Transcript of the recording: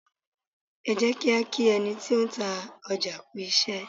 Ẹ jẹ́ kí á kí ẹni tí ó ń ta ọjà kú iṣẹ́.